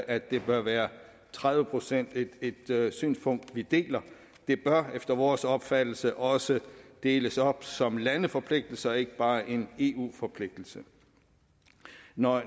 at det bør være tredive procent et synspunkt vi deler det bør efter vores opfattelse også deles op som landeforpligtelser og ikke bare være en eu forpligtelse når